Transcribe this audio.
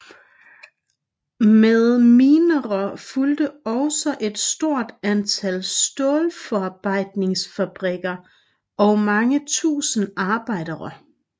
Med minerne fulgte også et stort antal stålforarbejdningsfabrikker og mange tusinde arbejdere